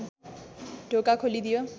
ढोका खोलिदियो